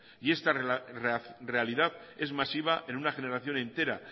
y esta realidad es masiva en una generación entera